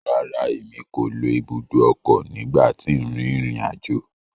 Rárá, Èmí ko ló ibùdó ọkọ nigba ti n rin irin ajo